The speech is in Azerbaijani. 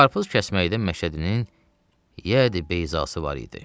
Qarpız kəsməkdə Məşədinin yəd-i bəyzası var idi.